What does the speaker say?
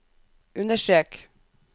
understrek